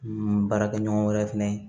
N baarakɛ ɲɔgɔn wɛrɛ fɛnɛ ye